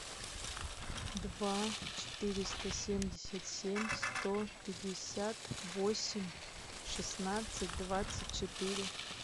два четыреста семьдесят семь сто пятьдесят восемь шестнадцать двадцать четыре